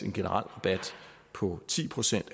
en generel rabat på ti procent